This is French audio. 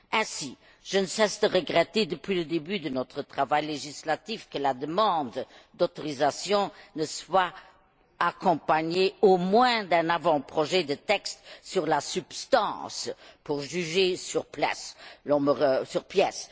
Ainsi, je ne cesse de regretter, depuis le début de notre travail législatif, que la demande d'autorisation ne soit accompagnée, au moins, d'un avant projet de texte sur la substance, pour juger sur pièce.